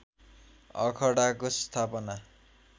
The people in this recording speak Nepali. अखडाको स्थापना